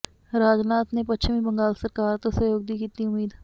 ਰਾਜਨਾਥ ਨੇ ਪੱਛਮੀ ਬੰਗਾਲ ਸਰਕਾਰ ਤੋਂ ਸਹਿਯੋਗ ਦੀ ਕੀਤੀ ਉਮੀਦ